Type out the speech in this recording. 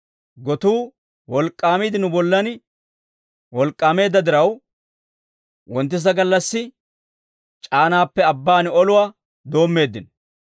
Gotuu wolk'k'aamiide nu bollan wolk'k'aameedda diraw, wonttisa gallassi c'aanaappe abbaan oluwaa doommeeddino.